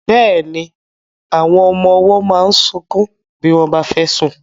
Bẹ́ẹ̀ni, àwọn ọmọ ọwọ́ máa ń sunkún bí wọ́n bá fẹ́ sùn.